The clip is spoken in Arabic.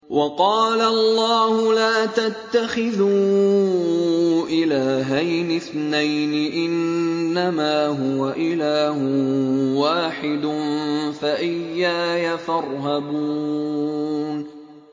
۞ وَقَالَ اللَّهُ لَا تَتَّخِذُوا إِلَٰهَيْنِ اثْنَيْنِ ۖ إِنَّمَا هُوَ إِلَٰهٌ وَاحِدٌ ۖ فَإِيَّايَ فَارْهَبُونِ